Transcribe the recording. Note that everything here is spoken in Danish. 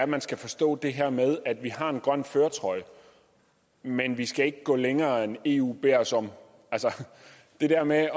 man skal forstå det her med at vi har en grøn førertrøje men at vi ikke skal gå længere end eu beder os om altså det der med